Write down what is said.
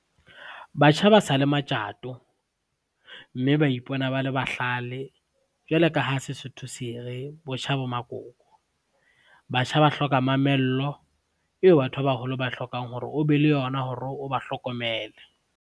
Batjha ba sa le matjato, mme ba ipona ba le bahlale. Jwalo ka ha Sesotho sere, botjha bo makoko. Batjha ba hloka mamello eo batho ba baholo ba hlokang hore o be le yona hore o ba hlokomele.